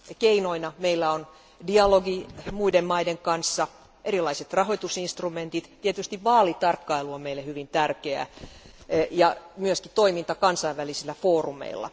Keinoina meillä on dialogi muiden maiden kanssa, erilaiset rahoitusinstrumentit, tietysti vaalitarkkailu on meille hyvin tärkeä ja myöskin toiminta kansainvälisillä foorumeilla.